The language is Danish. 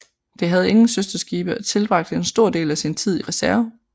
Det havde ingen søsterskibe og tilbragte en stor del af sin tid i reserve